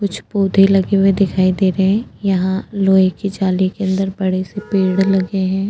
कुछ पौधे लगे हुए दिखाई दे रे हैं यहाँ लोहे की जाली के अंदर बड़े से पेड़ लगे हैं --